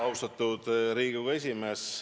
Austatud Riigikogu esimees!